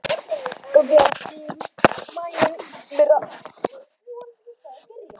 Gangi þér allt í haginn, Myrra.